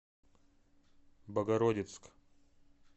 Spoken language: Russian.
богородицк